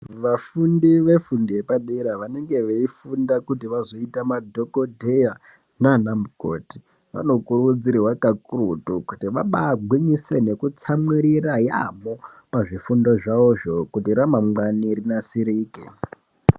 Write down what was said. Vafundi vefundo yepadera vanenge veifunda kuti vazoita madhogodheya naana mukoti vanokurudzirwa kakurutu kuti vabaagwinyisire nekutsamwirira yaamho pazvifundo zvavozvo kuti ramangwani rinasirike.